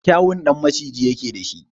Kyawun ɗan maciji yake da shi.